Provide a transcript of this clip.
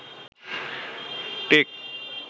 take